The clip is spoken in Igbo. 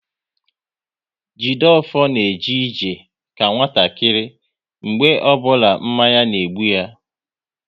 Jideofor na eje ije ka nwatakịrị mgbe ọbụla mmanya na-egbu ya